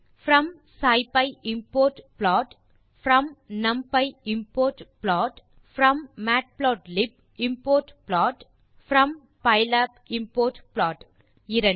from scipy import plot from numpy import plot from matplotlib import plot from pylab import plot 2